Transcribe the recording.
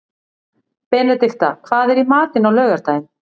Benedikta, hvað er í matinn á laugardaginn?